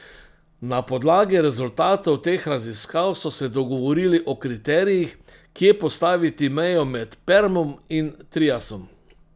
Na podlagi rezultatov teh raziskav so se dogovorili o kriterijih, kje postaviti mejo med permom in triasom.